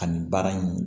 Ani baara in